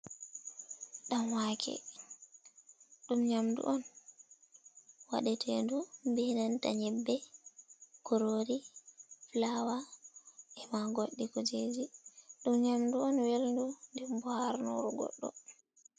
Ɗan wake ɗum nyamdu on waɗe tedu be nanta nyebbe, kurori, fulawa ema goɗɗi kujeji ɗum nyamdu on welndu ndenbo harnuru goddo.